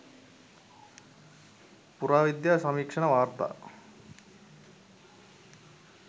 පුරාවිද්‍යා සමීක්ෂණ වාර්තා